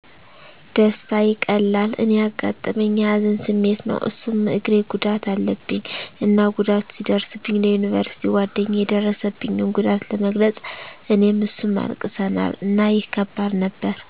ደስታ ይቀላል። እኔ ያጋጠመኝ የሀዘን ስሜት ነው እሱም እግሬ ጉዳት አለብኝ እና ጉዳቱ ሲደርስብኝ ለዩኒቨርሲቲ ጓደኛየ የደረሰብኝን ጉዳት ለመግለፅ እኔም እሱም አልቅሰናል። እና ይህ ከባድ ነበር።